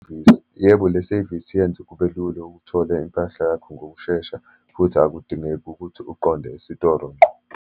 Yebo, le sevisi yenze kube lula ukuthole impahla yakho ngokushesha, futhi akudingeki ukuthi uqonde esitolo ngqo.